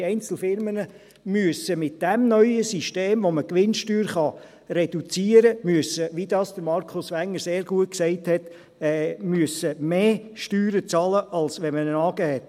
Die Einzelfirmen müssen mit diesem neuen System, mit dem man die Gewinnsteuer reduzieren kann – wie dies Markus Wenger sehr gut gesagt hat –, mehr Steuern bezahlen, als wenn man eine AG hat.